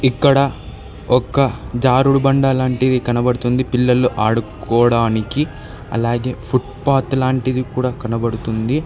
ఇక్కడ ఒక్క జారుడుబండ లాంటివి కనబడుతుంది పిల్లలు ఆడుకోవడానికి అలాగే ఫుట్ పాత్ లాంటిది కూడా కనబడుతుంది.